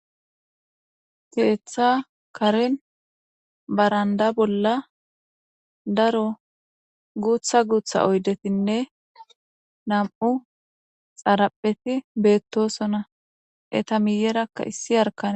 Keeththa karen baranda bola daro guta guta oyidetinne nam'u xarepheti betosona eta miyeraka issi yarikane.